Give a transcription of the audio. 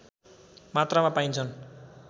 मात्रामा पाइन्छन्